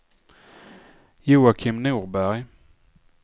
Joakim Norberg